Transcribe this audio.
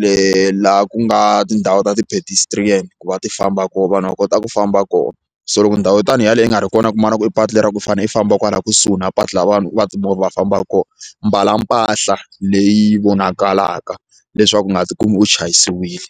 leyi la ku nga tindhawu ta ti-pedestrian ku va ti famba kona vanhu va kota ku famba koho so loko ndhawu yo tanihi yaleyo yi nga ri kona ku kuma na ku i patu lera ku i fane i famba kusuhi na patu laha vanhu va timovha va fambaka kona mbala mpahla leyi vonakalaka leswaku u nga ti kumi u chayisiwile.